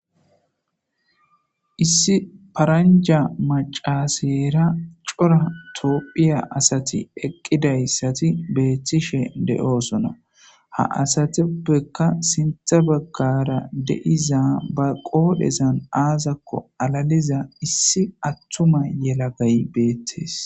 Issi paranja macasera cora tophiya asati eqidaysati betishe de'osona ha asatapeka sinthe bagara de'iza qodhezan azako alaliza issi atuma yelagay betes